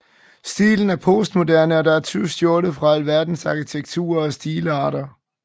Stilen er postmoderne og der er tyvstjålet fra alverdens arkitektur og stilarter